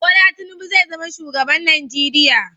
Bola Tinubu zai zama shugaban Najeriya